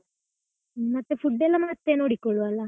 ಮತ್ತೆ food ಎಲ್ಲ ಮತ್ತೆ ನೋಡಿಕೊಳ್ಳುವ ಅಲ್ಲ.